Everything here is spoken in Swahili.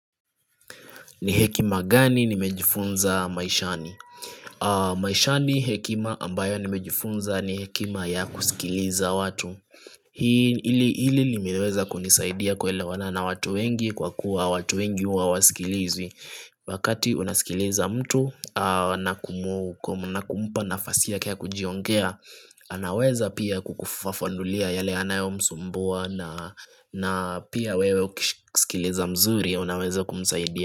Ni hekima gani nimejifunza maishani? Maishani hekima ambayo nimejifunza ni hekima ya kusikiliza watu Hii ili hili limeweza kunisaidia kuelewanana watu wengi kwa kuwa watu wengi hua wasikilizi Wakati unasikiliza mtu na kumu kum na kumpa nafasi yake ya kujiongea anaweza pia kukufafanulia yale anayo msumbua na na pia wewe ukishsikiliza mzuri unaweza kumsaidia.